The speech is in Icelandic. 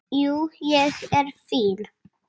Jú, ég er fínn.